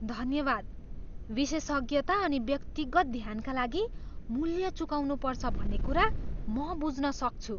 धन्यवाद! विशेषज्ञता अनि व्यक्तिगत ध्यानका लागि मूल्य चुकाउनुपर्छ भन्ने कुरा म बुझ्न सक्छु।